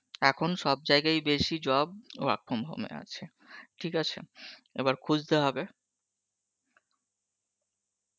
এখন সব জায়গায়ই বেশি job work from home এ আছে ঠিক আছে এবার খুজতে হবে